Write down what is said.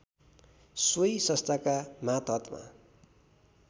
सोही संस्थाको मातहतमा